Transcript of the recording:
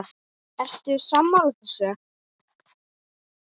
Ertu sammála þessu?